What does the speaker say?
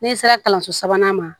N'i sera kalanso sabanan ma